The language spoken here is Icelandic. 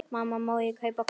Mamma, má ég kaupa hvolp?